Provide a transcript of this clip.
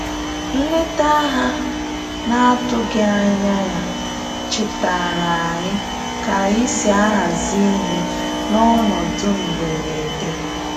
Nleta ha na atụghị anya ya chetaara anyị ka anyị si ahazi ihe n'ọnọdụ mgberede